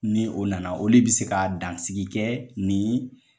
Ni o nana ole bi se ka dansiki kɛ nin